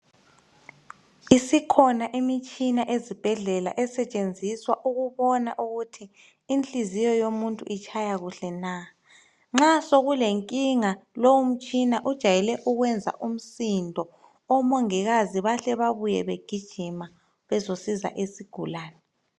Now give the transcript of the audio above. Isikhona imitshina ezibhedlela esetshenziswa ukubona ukuthi inhliziyo yomuntu itshaya kuhle na. Nxa sokulenkinga lowo mtshina ujayele ukwenza umsindo omongikazi bahle babuye begijima bezosiza isigulane.